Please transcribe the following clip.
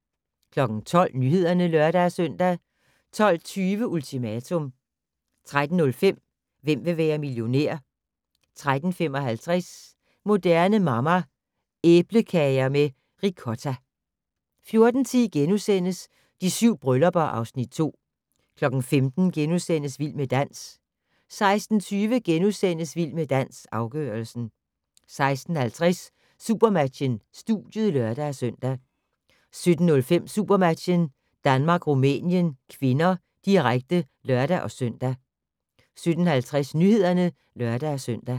12:00: Nyhederne (lør-søn) 12:20: Ultimatum 13:05: Hvem vil være millionær? 13:55: Moderne Mamma - Æblekager med ricotta 14:10: De 7 bryllupper (Afs. 2)* 15:00: Vild med dans * 16:20: Vild med dans - afgørelsen * 16:50: Supermatchen: Studiet (lør-søn) 17:05: SuperMatchen: Danmark-Rumænien (k), direkte (lør-søn) 17:50: Nyhederne (lør-søn)